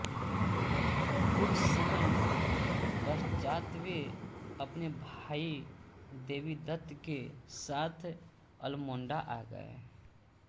कुछ समय पश्चात वे अपने भाई देवीदत्त के साथ अल्मोडा आ गये